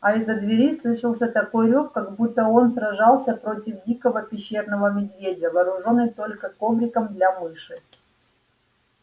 а из-за двери слышался такой рёв как будто он сражался против дикого пещерного медведя вооружённый только ковриком для мыши